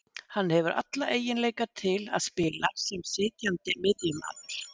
Hann hefur alla eiginleika til að spila sem sitjandi miðjumaður